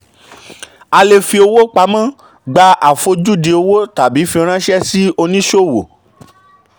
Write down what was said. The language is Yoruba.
a lè fi owó pamọ́ gba àfojúdi owó tàbí fi ránṣẹ́ sí oníṣòwò.